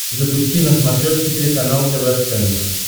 запусти на смотрешке телеканал тв центр